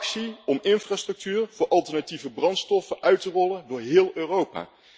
Actie om infrastructuur voor alternatieve brandstoffen uit te rollen door heel Europa.